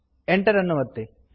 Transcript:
enter ಅನ್ನು ಒತ್ತಿರಿ